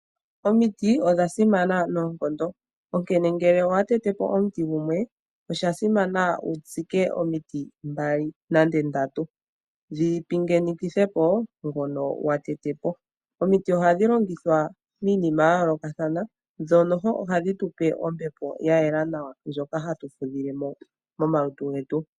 Omiti odha simana noonkondo, onkene ngele owa tete po omuti gumwe osha simana wu tsike omiti mbali nenge ndatu dhi pingene po ngono wa tete po. Omiti ohadhi longithwa miinima ya yoolokathana dho ohadhi tu pe ombepo ya yela nawa ndjoka hatu fudhile mo momalutu getu.